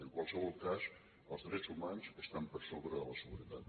en qualsevol cas els drets humans estan per sobre de la seguretat